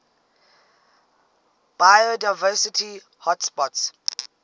biodiversity hotspots